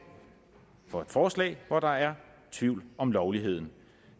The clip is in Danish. for et forslag hvor der er tvivl om lovligheden